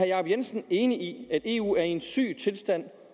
jacob jensen enig i at eu er i en syg tilstand